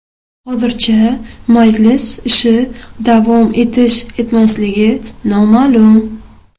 Hozircha majlis ishi davom etish-etmasligi noma’lum.